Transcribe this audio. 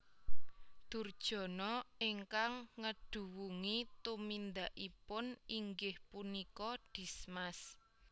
Durjana ingkang ngeduwungi tumindakipun inggih punika Dismas